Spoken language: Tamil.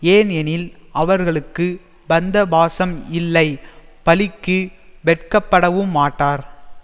ஏன் எனில் அவர்களுக்கு பந்த பாசம் இல்லை பழிக்கு வெட்கப்படவுமாட்டார்